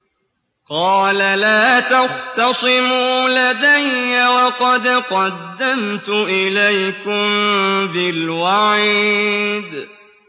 قَالَ لَا تَخْتَصِمُوا لَدَيَّ وَقَدْ قَدَّمْتُ إِلَيْكُم بِالْوَعِيدِ